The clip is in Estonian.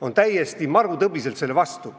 on täiesti marutõbiselt selle vastu.